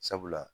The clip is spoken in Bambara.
Sabula